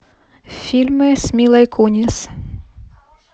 фильмы с милой кунис